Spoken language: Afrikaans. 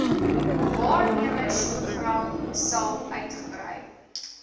waarnemersprogram sal uitgebrei